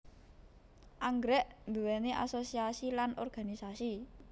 Anggrèk nduwéni asosiasi lan organisasi